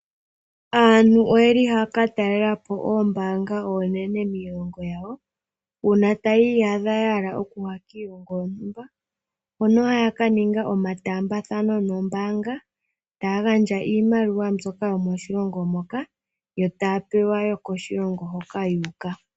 Aantu ohaya ka talela po oombaanga oonene miilongo yawo. Uuna taya iyadha ya hala okuya kiilongo yontumba hono haya ka ninga omataambathano nombaanga taya gandja iimaliwa mbyoka yomoshilongo moka yo taya pewa yokoshilongo hoka yu uka.